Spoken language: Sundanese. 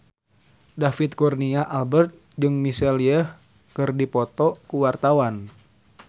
David Kurnia Albert jeung Michelle Yeoh keur dipoto ku wartawan